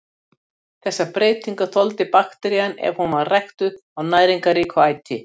Þessar breytingar þoldi bakterían ef hún var ræktuð á næringarríku æti.